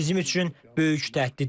Bu bizim üçün böyük təhdiddir.